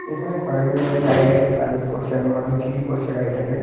এখানে কয়েকজন মিলে গাড়িটাকে সার্ভিস করছে মনে হচ্ছে ঠিকই করছে গাড়িটাকে।